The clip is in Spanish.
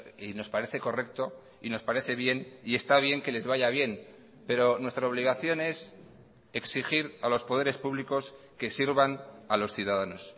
y nos parece correcto y nos parece bien y está bien que les vaya bien pero nuestra obligación es exigir a los poderes públicos que sirvan a los ciudadanos